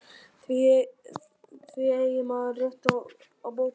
Því eigi maðurinn rétt á bótum